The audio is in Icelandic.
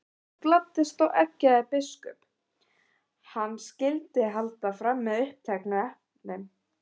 Þorvaldur gladdist við og eggjaði biskup, að hann skyldi halda fram uppteknu efni.